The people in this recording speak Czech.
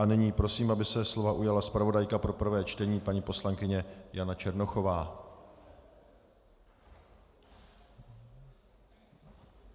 A nyní prosím, aby se slova ujala zpravodajka pro prvé čtení paní poslankyně Jana Černochová.